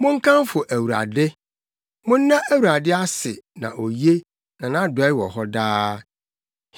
Monkamfo Awurade! Monna Awurade ase na oye; na nʼadɔe wɔ hɔ daa.